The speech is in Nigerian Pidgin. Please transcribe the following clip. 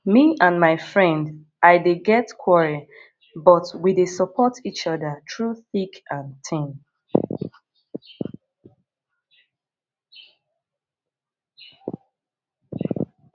me and my friend i dey get quarrel but we dey support each other through thick and thin